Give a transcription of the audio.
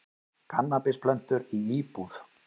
Kannabisplöntur í íbúð